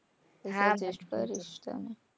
હા કઈ કરીશ ચલ,